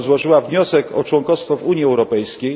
r. złożyła wniosek o członkostwo w Unii Europejskiej.